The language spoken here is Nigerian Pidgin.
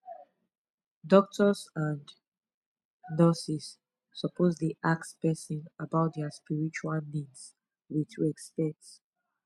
doctors and nurses suppose dey ask person about their spiritual needs with respect